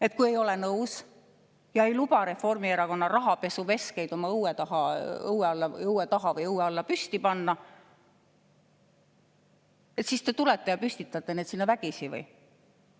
Et kui ei ole nõus ja ei luba Reformierakonna rahapesuveskeid oma õue taha või õue alla püsti panna, siis te tulete püstitate need sinna vägisi või?